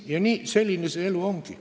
Selline see elu ongi.